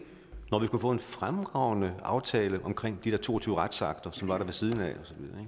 når vi kunne få en fremragende aftale omkring de der to og tyve retsakter som var der ved siden af